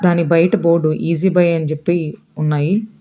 కొని బయట బోర్డు ఇజిబై అని చెప్పి ఉన్నాయి.